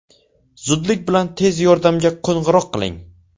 Zudlik bilan tez yordamga qo‘ng‘iroq qiling.